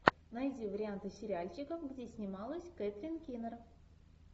найди варианты сериальчиков где снималась кэтрин кинер